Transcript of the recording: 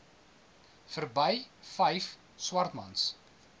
verby vyf swartmans